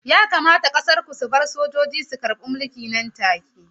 Yakamata ƙasar ku ta bar sojoji su karɓe mulki nan take!